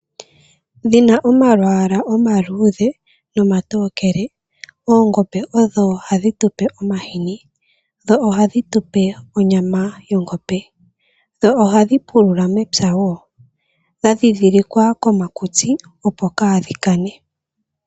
Dhina omalwaala omaluudhe nomatokele, oongombe odho hadhi tu pe omahini, ohadhi tupe onyama yongombe, dho ohadhi pulula mepya wo. Odha ndhindhilika komakutsi, opo kaadhi kane.